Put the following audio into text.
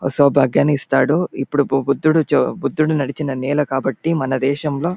ఇస్తాడు. ఇప్పుడు బు బుద్ద్ధుడు బుద్ధుడు నడిచిన నేల కాబట్టి మన దేశం లో--